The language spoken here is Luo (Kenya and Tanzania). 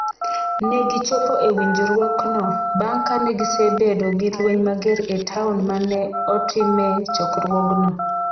Ne gichopo e winjruokno bang’ ka ne gisebedo gi lweny mager e taon ma ne otime chokruogno.